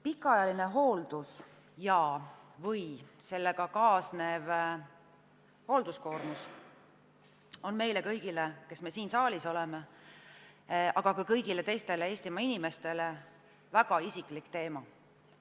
Pikaajaline hooldus ja sellega kaasnev koormus on meile kõigile, kes me siin saalis oleme, aga ka kõigile teistele Eestimaa inimestele väga isiklik teema.